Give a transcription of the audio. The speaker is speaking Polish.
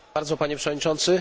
Panie Przewodniczący!